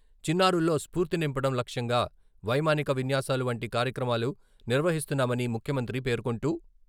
చిన్నారుల్లో స్ఫూర్తి నింపడం లక్ష్యంగా వైమానిక విన్యాసాలు వంటి కార్యక్రమాలు నిర్వహిస్తున్నామని ముఖ్యమంత్రి పేర్కొంటూ......